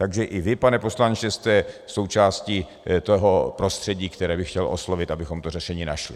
Takže i vy, pane poslanče, jste součástí toho prostředí, které bych chtěl oslovit, abychom to řešení našli.